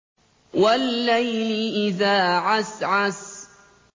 وَاللَّيْلِ إِذَا عَسْعَسَ